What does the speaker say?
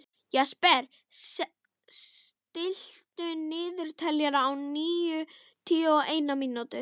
Jesper, stilltu niðurteljara á níutíu og eina mínútur.